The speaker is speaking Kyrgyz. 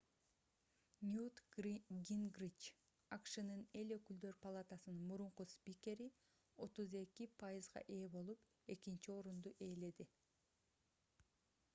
ньют гингрич акшнын эл өкүлдөр палатаcынын мурунку спикери 32% ээ болуп экинчи орунду ээледи